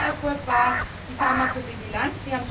Ein erster Erfolg war die Pharmakovigilanz.